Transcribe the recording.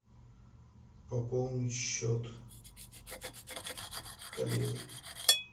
пополни счет коллеги